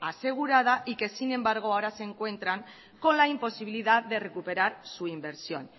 asegurada y que sin embargo ahora se encuentran con la imposibilidad de recuperar su inversión